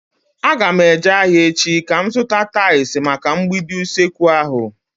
Aga m eje ahịa echi ka m zụta tais maka mgbidi usekwu ahu